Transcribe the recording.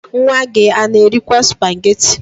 Nwa gị a na-erikwaa spageti?